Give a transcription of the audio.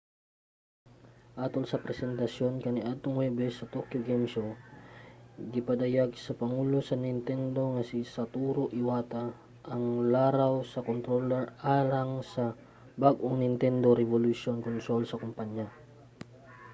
atol sa presentasyon kaniadtong huwebes sa tokyo game show gipadayag sa pangulo sa nintendo nga si satoru iwata ang laraw sa controller alang sa bag-ong nintendo revolution console sa kompanya